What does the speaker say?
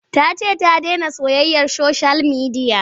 Ta ce ta dena soyayyar soshiyal midiya.